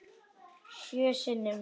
Sjö sinnum.